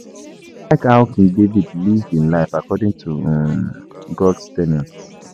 I like how King David live im life according to um God's ten ets